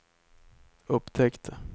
upptäckte